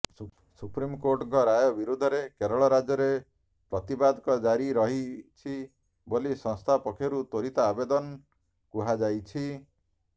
ସୁପ୍ରିମକୋର୍ଟଙ୍କ ରାୟ ବିରୋଧରେ କେରଳ ରାଜ୍ୟରେ ପ୍ରତିବାଦ ଜାରି ରହିଛି େବାଲି ସଂସ୍ଥା ପକ୍ଷରୁ ତ୍ବରିତ ଆବେଦନ କୁହାଯାଇଛି